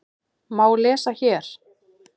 má lesa hér.